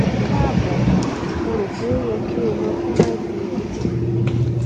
kaabo mo ro pe o yẹ ki o lọ fun ivf